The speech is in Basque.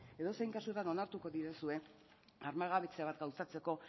edozein kasutan onartuko didazue armagabetze bat gauzatzeko